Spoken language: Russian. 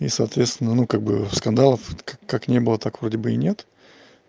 и соответственно ну как бы скандалов вот как как не было так вроде бы и нет